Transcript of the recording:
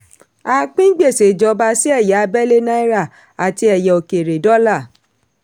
a pín gbèsè ìjọba sí ẹ̀yà abẹ́lẹ̀ (naira) àti ẹ̀yà òkèèrè (dollar).